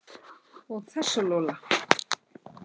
Og þessa Lola.